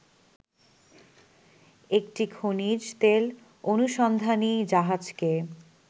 একটি খনিজতেল অনুসন্ধানী জাহাজকে